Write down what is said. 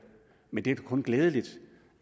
men det er da kun glædeligt